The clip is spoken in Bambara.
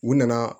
U nana